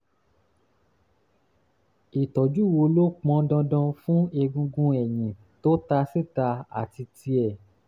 ìtọ́jú wo ló pọn dandan fún egungun ẹ̀yìn tó ta síta àti tíẹ̀?